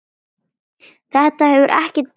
Þetta hefur ekkert breyst.